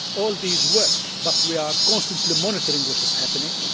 All these work, but we are constantly monitoring what is happening.